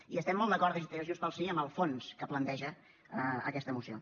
i estem molt d’acord des de junts pel sí en el fons que planteja aquesta moció